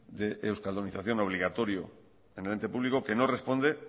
de euskaldunización obligatorio en el ente público que no responde